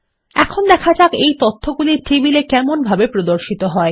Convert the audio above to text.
এখন দেখা যাক এই তথ্যগুলি টেবিল এ কেমনভাবে প্রদর্শিত হয়